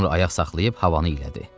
Sonra ayaq saxlayıb havanı elədi.